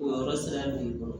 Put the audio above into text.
O yɔrɔ sariya b'i bolo